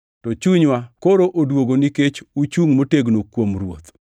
To chunywa koro odwogo nikech uchungʼ motegno kuom Ruoth.